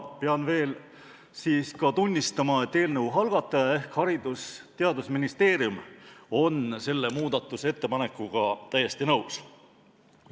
Pean veel tunnistama, et eelnõu algataja ehk Haridus- ja Teadusministeerium on selle muudatusettepanekuga täiesti nõus.